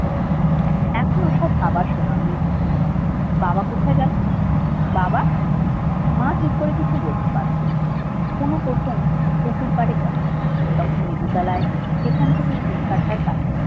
এখনো সব ভাবার সময় নেই বাবা কোথায় গেল বাবা! মা ঠিক করে কিছু বলতে পারল না পুনু প্রথম পুকুর পাড়ে গেল পুনু তখন লেবু তলায় সেখান থেকে তিন কাঠার